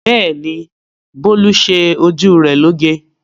Bẹ́ẹ̀ ni, Bólú ṣe ojú rẹ̀ lóge.